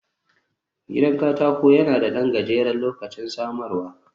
Gidan katako yana da ɗan gajeren lokacin samarwa